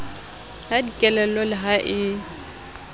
ka dikelello le ha e